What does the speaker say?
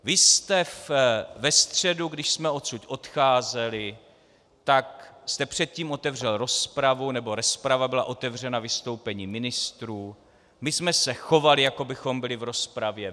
Vy jste ve středu, když jsme odsud odcházeli, tak jste předtím otevřel rozpravu, nebo rozprava byla otevřena vystoupením ministrů, my jsme se chovali jako bychom byli v rozpravě.